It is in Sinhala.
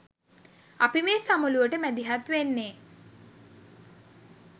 අපි මේ සමුළුවට මැදිහත් වෙන්නේ